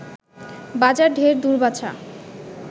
বাজার ঢের দূর বাছা